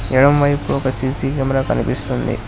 ఎడమవైపు ఒక C C camera కనిపిస్తుంది.